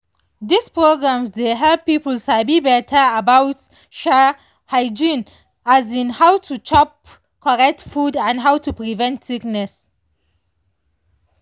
these programs dey help people sabi better about um hygiene um how to chop correct food and how to prevent sickness.